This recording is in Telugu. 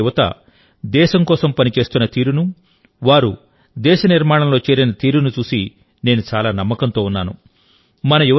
నేటి మన యువత దేశం కోసం పని చేస్తున్న తీరును వారు దేశ నిర్మాణంలో చేరిన తీరును చూసి నేను చాలా నమ్మకంతో ఉన్నాను